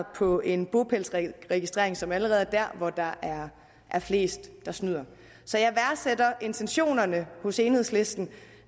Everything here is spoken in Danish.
på en bopælsregistrering som allerede er der hvor der er flest der snyder så jeg værdsætter intentionerne hos enhedslisten